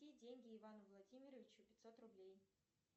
переведи деньги ивану владимировичу пятьсот рублей